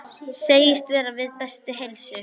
Segist vera við bestu heilsu.